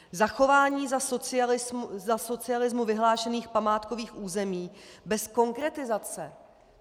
Zachování za socialismu vyhlášených památkových území bez konkretizace.